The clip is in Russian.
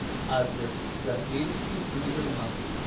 адрес гордеевский универмаг